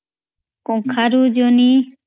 କଖାରୁ ଜନହୀ